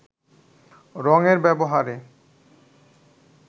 রঙের ব্যবহারে